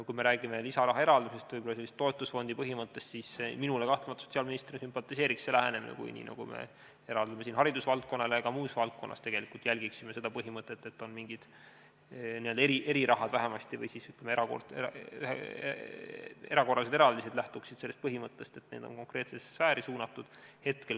Kui me räägime lisarahaeraldusest, võib-olla ka toetusfondi põhimõttest, siis minule kahtlemata sotsiaalministrina sümpatiseeriks see lähenemine, et kui me eraldame raha haridusvaldkonnale ja ka muus valdkonnas tegelikult järgime seda põhimõtet, siis oleksid vähemasti mingi n-ö eriraha või erakorralised eraldised, mis lähtuksid sellest põhimõttest, et need on konkreetsesse sfääri suunatud.